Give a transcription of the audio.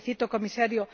Le felicito, Comisario.